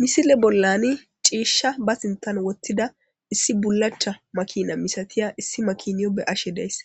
Misile bollani ciishsha ba sintan wottida issi bulacha makina misatiya issi makiniyo be ashe daysse